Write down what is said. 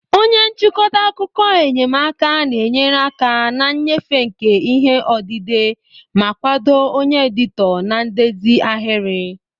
Onye nchịkọta akụkọ enyemaka na-enyere aka na nnyefe nke ihe odide ma kwado onye editọ na ndezi ahịrị.